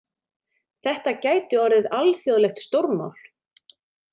Þetta gæti orðið alþjóðlegt stórmál.